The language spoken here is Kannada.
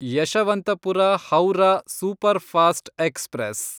Yeshwanthpur Howrah superfast express